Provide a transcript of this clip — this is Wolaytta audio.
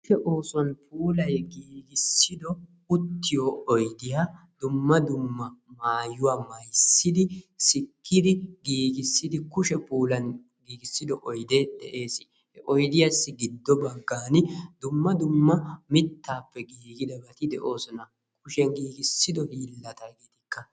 Kushe oosuwan puulayi giigissido uttiyo oydiya dumma dumma maayuwa mayssidi, sikkidi giigissidi, kushe puulan giigissido oydee de'ees. He oydiyassi giddo giddo baggan dumma dumma mittaappe giigidabati de'oosona. Kushee giigissido hiillata etikka.